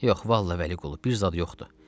Yox, vallah Vəli Qulu, bir zad yoxdur.